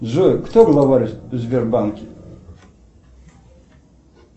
джой кто главарь в сбербанке